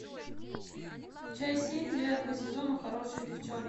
часть семь девятого сезона хорошие девчонки